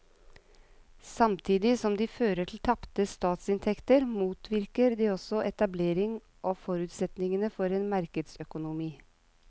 Samtidig som de fører til tapte statsinntekter motvirker de også etablering av forutsetningene for en markedsøkonomi.